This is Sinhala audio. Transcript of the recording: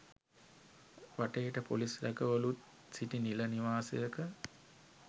වටේට පොලිස් රැකවලුන් සිටි නිල නිවාසයක.